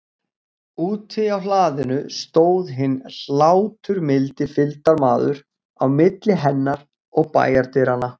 Úti á hlaðinu stóð hinn hláturmildi fylgdarmaður, á milli hennar og bæjardyranna.